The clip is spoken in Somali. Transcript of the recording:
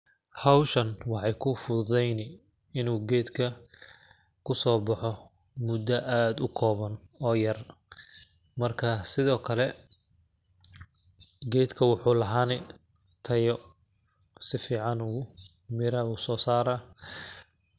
Hawshan waxeey kuu fududeyni inuu geedka kusoo baxo muddo aad u kooban oo yar ,marka sidoo kale geedka waxuu lahaani tayo ,si fiicanuu mira usoo saraa .